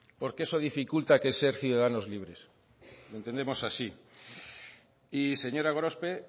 porque eso dificulta el ser ciudadanos libres lo entendemos así y señora gorospe